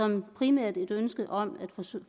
som primært et ønske om at